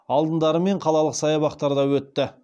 алдындары мен қалалық саябақтарда өтті